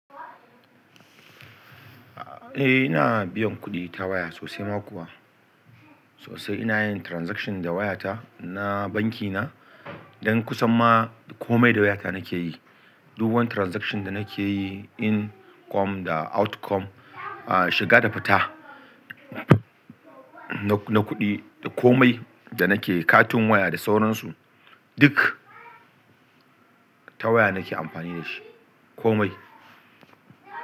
Eh ina, biyan kuɗi ta waya sosai ma kuwa. Sosai ina yin transaction da wayata na bankina. Dan kusan ma komai da wayata nake yi. Duk wani transaction da nake yi income da outcome, a shiga da fita na kuɗi, da komai da nakeyi katin waya da sauransu duk ta waya nake amfani da shi komai.